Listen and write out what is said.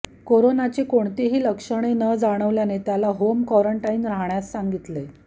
कोरोनाची कोणतीही लक्षणे न जाणवल्याने त्याला होम कॉरंटाईन राहण्यास सांगितले